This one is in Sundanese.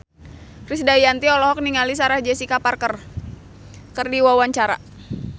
Krisdayanti olohok ningali Sarah Jessica Parker keur diwawancara